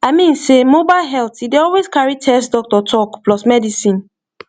i mean sey mobile health e dey always carry test doctor talk plus medicine